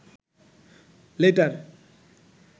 letter